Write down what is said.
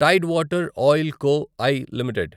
Tide Water Oil Co I limited